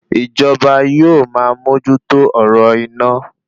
Ìjọba yóò ma mójú tó ọ̀rọ̀ iná